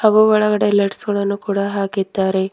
ಹಾಗು ಒಳಗಡೆ ಲೈಟ್ಸ್ ಗಳನ್ನು ಕೂಡ ಹಾಕಿದ್ದಾರೆ.